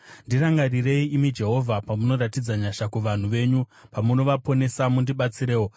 Ndirangarirei, imi Jehovha, pamunoratidza nyasha kuvanhu venyu, pamunovaponesa, mundibatsirewo,